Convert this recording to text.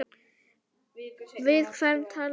Við hvern tala ég núna?